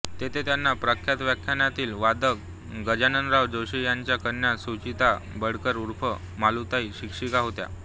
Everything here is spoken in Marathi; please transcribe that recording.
तेथे त्यांना प्रख्यात व्हायोलीन वादक गजाननराव जोशी यांच्या कन्या सुचेता बिडकर ऊर्फ मालूताई शिक्षिका होत्या